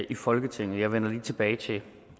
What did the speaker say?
i folketinget jeg vender lige tilbage til